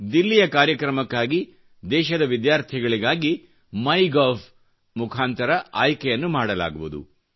ದಿಲ್ಲಿಯ ಕಾರ್ಯಕ್ರಮಕ್ಕಾಗಿ ದೇಶದ ವಿದ್ಯಾರ್ಥಿಗಳಿಗಾಗಿ ಮಾಯ್ ಗೌ ದ ಮುಖಾಂತರ ಆಯ್ಕೆಯನ್ನು ಮಾಡಲಾಗುವುದು